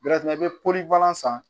i bɛ pori palan san